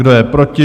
Kdo je proti?